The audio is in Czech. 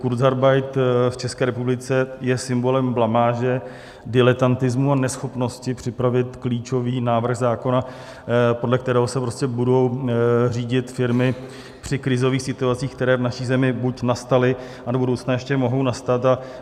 Kurzarbeit v České republice je symbolem blamáže, diletantismu a neschopnosti připravit klíčový návrh zákona, podle kterého se budou řídit firmy při krizových situacích, které v naší zemi buď nastaly, a do budoucna ještě mohou nastat.